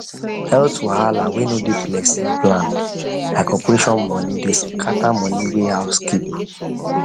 health wahala wey no dey person plan like operation money dey scatter money wey house keep